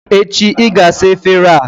Echi, ị ga-asa efere a!